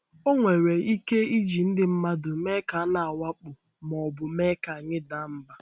Ọ nwere ike iji ndị mmadụ mee ka a na-awakpo ma ọ bụ mee ka anyị daa mbà.